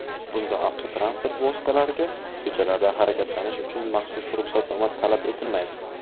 Bunda avtotransport vositalariga ko‘chalarda harakatlanish uchun maxsus ruxsatnoma talab etilmaydi.